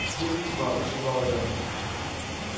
свет и тьма прошептал я